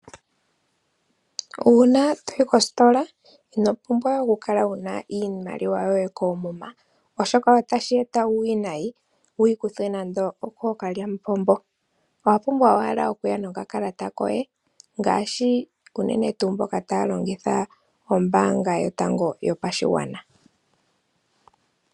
Uuna toyi koositola inopumbwa wukale wuna iimaliwa yoye koomuma oshoka otashi eta uuwinayi wuyi kuthwe nande okookalyamupombo . Owapumbwa owala okuya no kakalata koye unene tuu mboka taya longitha ombaanga yotango yopashigwana.